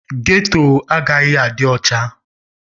Ghetto agaghị adị ọcha.